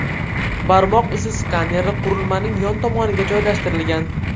Barmoq izi skaneri qurilmaning yon tomoniga joylashtirilgan.